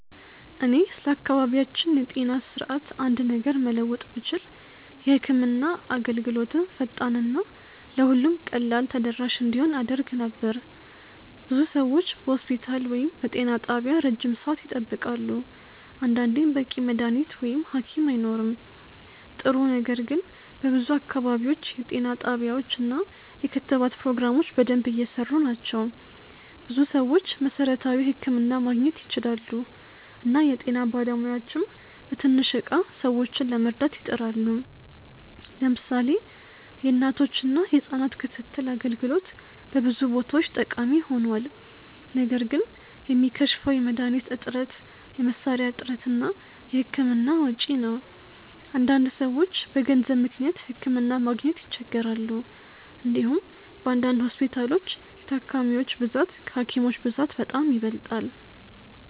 እኔ ስለ አካባቢያችን የጤና ስርዓት አንድ ነገር መለወጥ ብችል የህክምና አገልግሎትን ፈጣን እና ለሁሉም ቀላል ተደራሽ እንዲሆን አደርግ ነበር። ብዙ ሰዎች በሆስፒታል ወይም በጤና ጣቢያ ረጅም ሰዓት ይጠብቃሉ፣ አንዳንዴም በቂ መድሀኒት ወይም ሀኪም አይኖርም። ጥሩ ነገር ግን በብዙ አካባቢዎች የጤና ጣቢያዎች እና የክትባት ፕሮግራሞች በደንብ እየሰሩ ናቸው። ብዙ ሰዎች መሠረታዊ ሕክምና ማግኘት ይችላሉ እና የጤና ባለሙያዎችም በትንሽ እቃ ብዙ ሰዎችን ለመርዳት ይጥራሉ። ለምሳሌ የእናቶችና የህጻናት ክትትል አገልግሎት በብዙ ቦታዎች ጠቃሚ ሆኗል። ነገር ግን የሚከሽፈው የመድሀኒት እጥረት፣ የመሳሪያ እጥረት እና የህክምና ወጪ ነው። አንዳንድ ሰዎች በገንዘብ ምክንያት ሕክምና ማግኘት ይቸገራሉ። እንዲሁም በአንዳንድ ሆስፒታሎች የታካሚዎች ብዛት ከሀኪሞች ብዛት በጣም ይበልጣል።